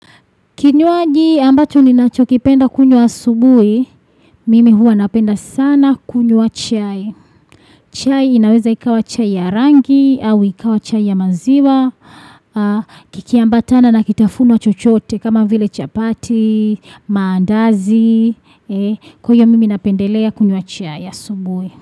Kinywaji ambacho ninachokipenda kunywa asubuhi, mimi huwa napenda sana kunywa chai. Chai inaweza ikawa chai ya rangi, au ikawa chai ya maziwa, kikiambatana na kitafuno chochote kama vile chapati, maandazi, kwa hiyo mimi napendelea kunywa chai asubuhi.